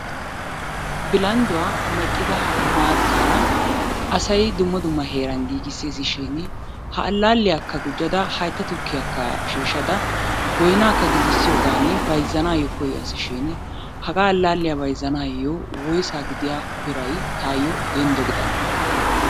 Bilandduwa meqqida maataara asay dumma dumma heeran giigiseessi shin ha alaalliyakka gujjada haytta tukkiyakka shiishada boynaaka giisisiyoogan bayzzzanaayo kiyaassi shini hagaa allaaliya bayzzanaayo woyssa gidiya biray tayo denddo gidane?